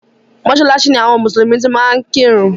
Mọ́sálásí ni àwọn mùsùlùmí ti máa ń kírun.